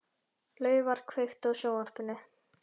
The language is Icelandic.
Laufar, kveiktu á sjónvarpinu.